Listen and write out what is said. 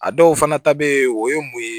A dɔw fana ta bɛ yen o ye mun ye